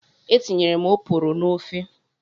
Etinyere m oporo n'ofe.